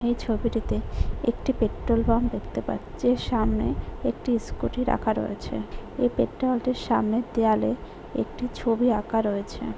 এই ছবিটিতে একটি পেট্রোল পাম্প দেখতে পাচ্ছি সামনে একটি স্কুটি রাখা রয়েছে এই পেট্রোল পাম্প টির সামনের দেওয়ালে একটি ছবি আঁকা রয়েছে।